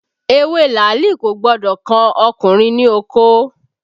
Ewé làálì kò gbọ́dọ̀ kan ọkùnrin ní okó